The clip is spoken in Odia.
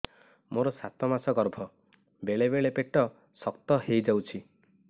ମୋର ସାତ ମାସ ଗର୍ଭ ବେଳେ ବେଳେ ପେଟ ଶକ୍ତ ହେଇଯାଉଛି